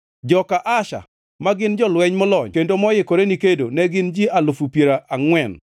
joka Asher, ma gin jolweny molony kendo moikore ni kedo ne gin ji alufu piero angʼwen (40,000);